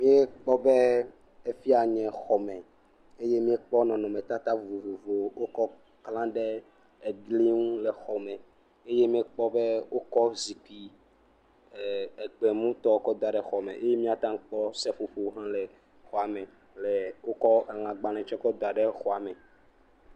Míekpɔ be efi ya anye xɔme eye míekpɔ nɔnɔmetata vovovo aɖe si wokla ɖe egli ŋu le exɔ me, eye míekpɔ be wokɔ zikpui egbemu tɔ kɔ da xɔ me, eye míate kpɔ seƒoƒoƒo hã le xɔme, le wotsɔ elãgbalẽ tsɛ kɔ da xɔa me.